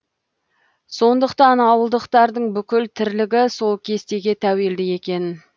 сондықтан ауылдықтардың бүкіл тірлігі сол кестеге тәуелді екен